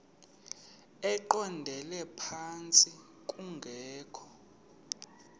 eqondele phantsi kungekho